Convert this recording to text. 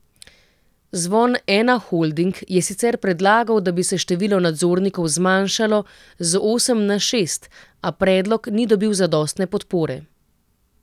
Zvon Ena Holding je sicer predlagal, da bi se število nadzornikov zmanjšalo z osem na šest, a predlog ni dobil zadostne podpore.